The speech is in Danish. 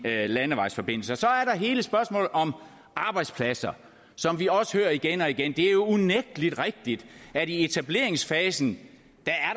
landevejsforbindelse så er der hele spørgsmålet om arbejdspladser som vi også hører igen og igen det er unægtelig rigtigt at i etableringsfasen